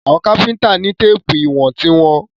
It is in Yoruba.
Àwọn Káfíntà ni téèpù ìwọ̀n tí wọ́n.